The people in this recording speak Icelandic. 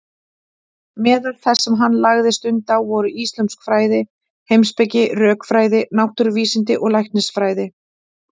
Meðal þess sem hann lagði stund á voru íslömsk fræði, heimspeki, rökfræði, náttúruvísindi og læknisfræði.